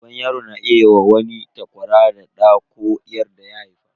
Uban yaro na iya wa wani takwara da ɗa ko 'yar daya haifa.